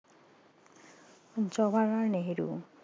Jawaharlal Nehru